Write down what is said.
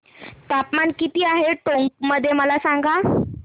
तापमान किती आहे टोंक मध्ये मला सांगा